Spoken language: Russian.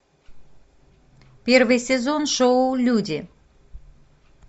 первый сезон шоу люди